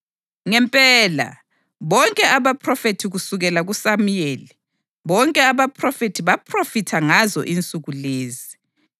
Ngempela, bonke abaphrofethi kusukela kuSamuyeli, bonke abaphrofethi baphrofitha ngazo insuku lezi.